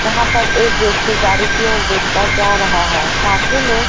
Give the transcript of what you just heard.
यहां पर एक व्यक्ति गाड़ी की ओर देखता जा रहा है साथ ही में--